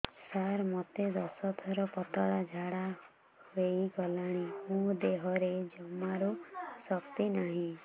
ସାର ମୋତେ ଦଶ ଥର ପତଳା ଝାଡା ହେଇଗଲାଣି ମୋ ଦେହରେ ଜମାରୁ ଶକ୍ତି ନାହିଁ